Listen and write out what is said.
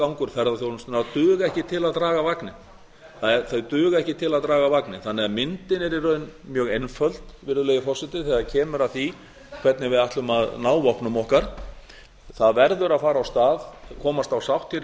gangur ferðaþjónustunnar duga ekki til að draga vagninn þannig að myndin er í raun mjög einföld virðulegi forseti þegar kemur að því hvernig við ætlum að ná vopnum okkar það verður að fara af stað komast á sátt hér í